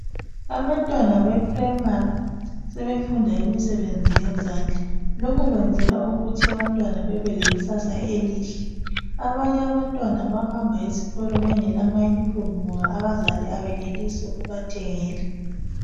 abantwana be primry sebefunda imsebenzi yezandla lokhu kwenzelwa ukuthi abantwana bebelekusasa elihle abanye abantwana abayahamba esikolo bengela ma uniform ngoba abazali abeneli ukubathengela